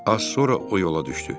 Az sonra o yola düşdü.